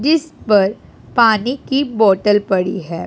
जिस पर पानी की बोटल पड़ी है।